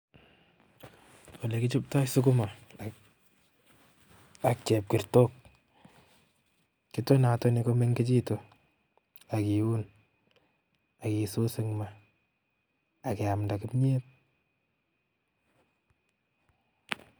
Olekichobtoi sukuma ak chepkerta, kitonatoni komengechitu akiiun, akisuus ing' ma akeamda kimyet